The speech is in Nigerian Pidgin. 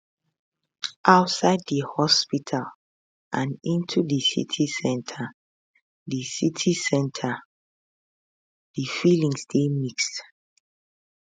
outside di hospital and into di city centre city centre di feelings dey mixed